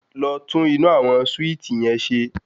Lọ tún inú àwọn súìtì yẹn ṣe.